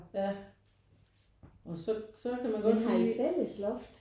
Ja og så så kan man godt lige